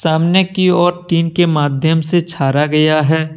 सामने की और टीन के माध्यम से छाया गया है।